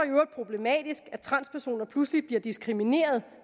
problematisk at transpersoner pludselig bliver diskrimineret